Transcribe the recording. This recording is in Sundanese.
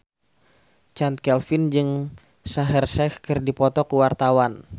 Chand Kelvin jeung Shaheer Sheikh keur dipoto ku wartawan